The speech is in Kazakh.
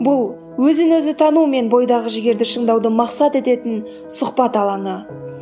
бұл өзін өзі тану мен бойдағы жігерді шыңдауды мақсат ететін сұхбат алаңы